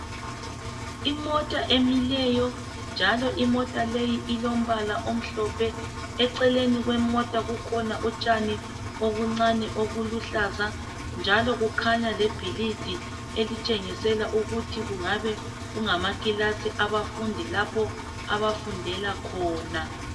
Imota emileyo, njalo imota leyi ilombala omhlophe, eceleni kwemota kukhona utshani obuncane obuluhlaza, njalo kukhanya lebhilidi elitshengisela ukuthi kungabe kungamakilasi abafundi lapho abafundela khona.